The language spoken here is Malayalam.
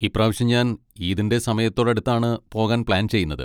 ഇപ്രാവശ്യം ഞാൻ ഈദിൻ്റെ സമയത്തോടടുത്താണ് പോകാൻ പ്ലാൻ ചെയ്യുന്നത്.